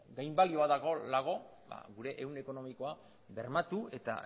dago ba gure ehun ekonomikoa bermatu eta